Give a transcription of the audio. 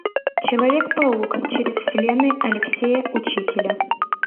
человек паук через вселенные алексея учителя